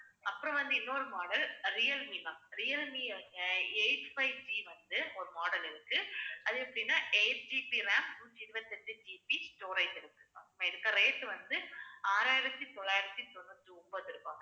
அப்புறம் வந்து இன்னொரு model அஹ் ரியல்மீ ma'am ரியல்மீ ஆஹ் eight fiveB வந்து ஒரு model இருக்கு. அது எப்படின்னா 8GB RAM நூற்றி இருபத்தி எட்டு GB storage இருக்கு ma'am இதுக்கு rate வந்து ஆறாயிரத்தி தொள்ளாயிரத்தி தொண்ணூத்தி ஒன்பது ரூபாய்